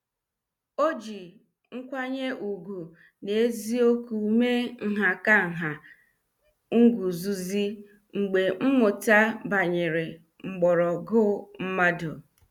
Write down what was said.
Ọ ji nkwanye ùgwù na eziokwu mee nhakanha / nguzozi mgbe mmụta banyere mgbọrọgwụ mmadụ.